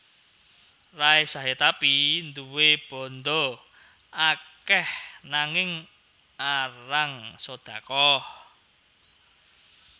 Ray Sahetapy duwe bandha akeh nanging arang sodaqoh